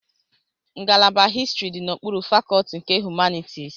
Ngalaba histrị dị n'okpuru fakọlti nke Humanitisi.